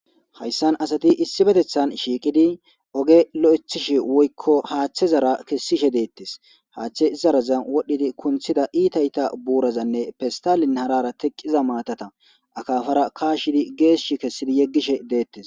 Hayssan asati issi betethan shiiqidi oge lo'ethishi woykko haaththe zara kessishe deettes haaththe zaraza wodhdhidi kunthida iitayta buurazanne pestalin harara teqqiza maatata akafara kaashidi geeshsh kessidi yeggishe deettes.